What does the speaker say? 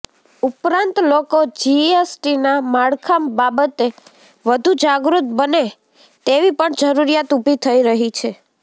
ઉપરાંત લોકો જીએસટીના માળખા બાબતે વધુ જાગૃત બને તેવી પણ જરૂરીયાત ઉભી થઈ રહી છે